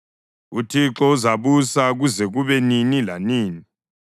UThixo uzabusa kuze kube nini lanini.”